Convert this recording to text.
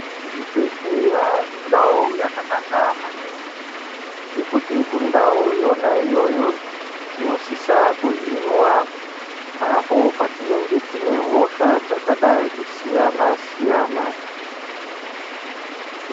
Zvibhehleya indau yakanaka maningi. Ngekuti kundau yona iyoyo, tinosisa kuhinwa, apo patinenge tine hosha dzakadai kusiyana-siyana.